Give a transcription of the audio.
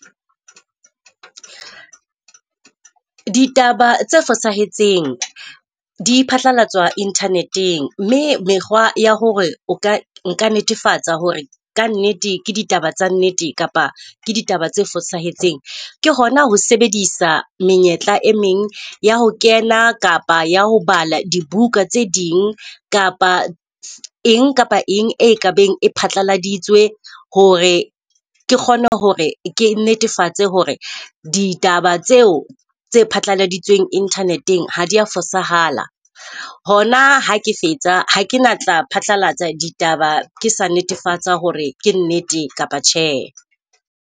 Ditaba tse fosahetseng di phatlalatswa internet-eng, mme mekgwa ya hore o ka nka netefatsa hore ka nnete ke ditaba tsa nnete kapa ke ditaba tse fosahetseng ke hona ho sebedisa menyetla e meng ya ho kena kapa ya ho bala dibuka tse ding, kapa eng kapa eng e kabeng e phatlaladitswe hore ke kgone hore ke netefatse hore ditaba tseo tse phatlaladitsweng internet-eng ha dia fosahala. Hona ha ke fetsa ha ke na tla phatlalatsa ditaba, ke sa netefatsa hore ke nnete kapa tjhe.